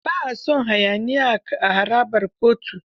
Ba a son hayaniya a harabar kotu.